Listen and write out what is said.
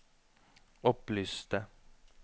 opplyste